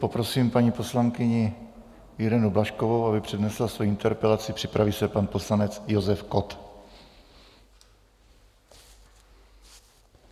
Poprosím paní poslankyni Irenu Blažkovou, aby přednesla svoji interpelaci, připraví se pan poslanec Josef Kott.